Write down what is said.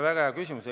Väga hea küsimus.